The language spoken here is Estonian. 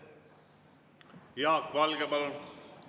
Jaak Valge, palun!